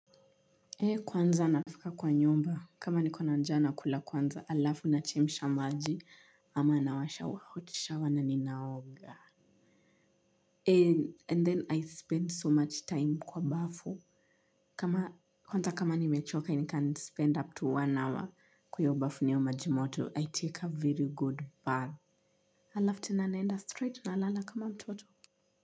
Hei kwanza nafika kwa nyumba kama nikona nja na kula kwanza alafu nachemisha maji ama nawasha wa hotishawa na ninaoga Hei and then I spend so much time kwa bafu. Kama kwanza kama nimechoka i can spend up to one hour kwa hiyo bafu na hiyo majimoto I take a very good bath halafu tena naenda straight nalala kama mtoto.